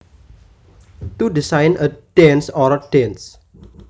To design a dance or dances